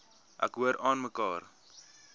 ek hoor aanmekaar